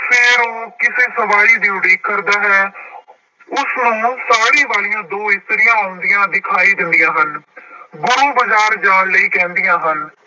ਫਿਰ ਉਹ ਕਿਸੇ ਸਵਾਰੀ ਦੀ ਉਡੀਕ ਕਰਦਾ ਹੈ ਉਸ ਵੱਲ ਨੂੂੰ ਸਾੜੀ ਵਾਲੀਆਂ ਦੋ ਇਸਤਰੀਆਂ ਆਉਂਦੀਆਂ ਦਿਖਾਈ ਦਿੰਦੀਆਂ ਹਨ ਗੁਰੂ ਬਾਜ਼ਾਰ ਜਾਣ ਲਈ ਕਹਿੰਦੀਆਂ ਹਨ।